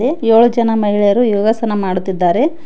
ಮತ್ತೆ ಏಳು ಜನ ಮಹಿಳೆಯರು ಯೋಗಸನ ಮಾಡುತ್ತಿದ್ದಾರೆ.